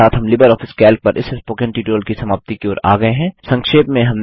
इसी के साथ हम लिबर ऑफिस कैल्क पर इस स्पोकन ट्यूटोरियल की समाप्ति की ओर आ गये हैं